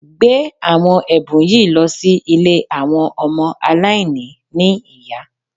Gbé àwọn ẹ̀bùn yìí lọ sí ilé àwọn ọmọ aláìní ní ìyá